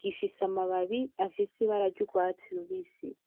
Gifise amababi afise ibara ry'urwatsi rubisi.